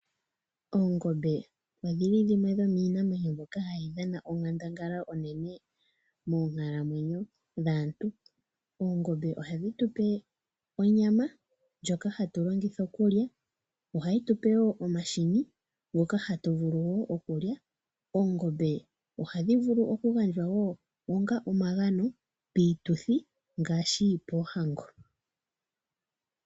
Oongombe odho li dhimwe dhomiinamwenyo mbyono hayi dhana onkandangala onene monkalamwenyo dhaantu. Oongombe ohadhi tupe onyama ndhoka hatu longitha okulya. Ohayi tupe wo omahini nhoka tu na okulya. Oongombe ohayi gandja wo onga omagano piituthi ngaashi poohango.